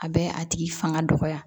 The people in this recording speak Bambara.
A bɛ a tigi fanga dɔgɔya